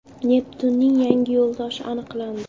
Neptunning yangi yo‘ldoshi aniqlandi.